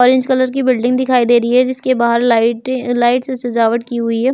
Orange colour की building दिखाई दे रही है जिसके बाहर लाइट लाइट से सजावट की हुई है।